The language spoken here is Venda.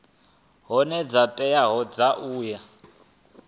hoea dzo teaho dza u